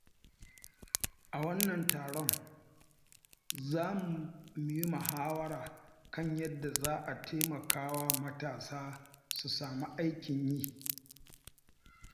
A wannan taron, za mu yi muhawara kan yadda za a taimaka wa matasa su samu aikin yi.